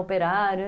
Operário.